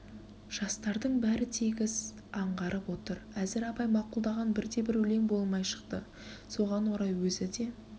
жастардың бәрі тегіс аңғарып отыр әзір абай мақұлдаған бірде-бір өлең болмай шықты соған орай өзі де